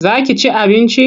Za ki ci abinci?